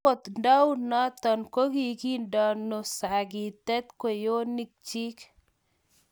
Agot ndaunoto kogindeno sagitek kwenyonikchi